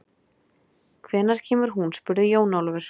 Hvenær kemur hún spurði Jón Ólafur.